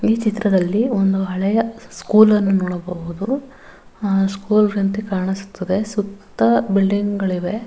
ಈ ಚಿತ್ರದ್ಲಲಿ ಒಂದು ಹಳೆಯ ಸ್ಕೂಲ್ ಅನ್ನ್ನು ನೋಡಬಹುದು ಅಹ್ ಸ್ಕೂಲ್ ಅಂತೇ ಕಾಣಿಸುತ್ತದೆ ಸುತ್ತ ಬಿಲ್ಡಿಂಗ್ ಗಳಿವೆ.